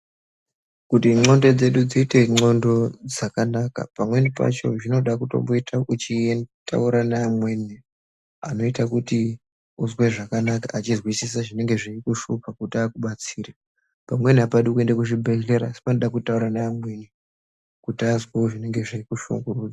Kuti ndxondo dzedu dziite ndxondo dzakanaka. Pamweni pacho zvinoda kutomboita uchitaura neamweni anoita kuti uzwe zvakanaka, achizwisisa zvinenge zveikushupa kuti akubatsire. Pamweni hapadi kuende kuzvibhehlera asi panoda kutaura neamweni kuti azwewo zvinenge zveikushungurudza.